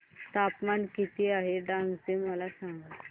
तापमान किती आहे डांग चे मला सांगा